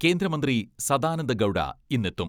കേന്ദ്രമന്ത്രി സദാനന്ദ ഗൗഡ ഇന്ന് എത്തും.